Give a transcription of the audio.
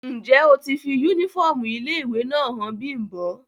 Njẹ o ti fi unifọmú ile-iwe náa han Bimbo?